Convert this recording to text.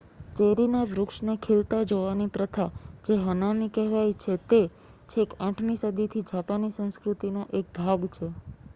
ચેરિના વૃક્ષને ખીલતા જોવાની પ્રથા જે હનામી કહેવાય છે તે છેક 8મી સદીથી જાપાની સંસ્કૃતિનો એક ભાગ છે